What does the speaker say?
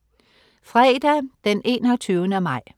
Fredag den 21. maj